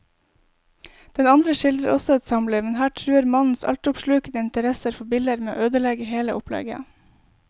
Den andre skildrer også et samliv, men her truer mannens altoppslukende interesse for biller med å ødelegge hele opplegget.